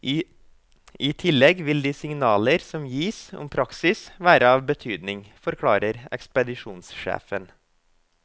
I tillegg vil de signaler som gis om praksis være av betydning, forklarer ekspedisjonssjefen.